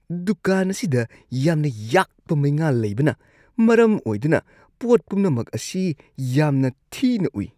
ꯗꯨꯀꯥꯟ ꯑꯁꯤꯗ ꯌꯥꯝꯅ ꯌꯥꯛꯄ ꯃꯩꯉꯥꯜ ꯂꯩꯕꯅ ꯃꯔꯝ ꯑꯣꯏꯗꯨꯅ ꯄꯣꯠ ꯄꯨꯝꯅꯃꯛ ꯑꯁꯤ ꯌꯥꯝꯅ ꯊꯤꯅ ꯎꯏ꯫